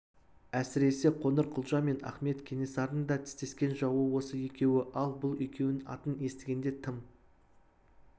әсіресе қоңырқұлжа мен ахмет кенесарының да тістескен жауы осы екеуі ал бұл екеуінің атын естігенде тым